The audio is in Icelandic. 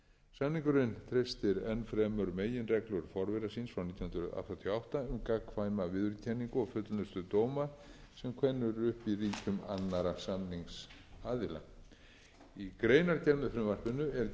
samningurinn treystir enn fremur meginreglur forvera síns frá nítján hundruð áttatíu og átta um gagnkvæma viðurkenningu og fullnustu dóma sem kveðnir eru upp í ríkjum annarra samningsaðila í greinargerð með frumvarpinu er gerð ítarleg grein fyrir sögu